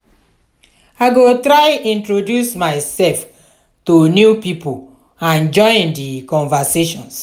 i go try to introduce myself to new people and join in di conversations.